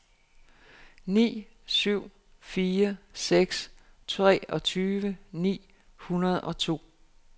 ni syv fire seks treogtyve ni hundrede og to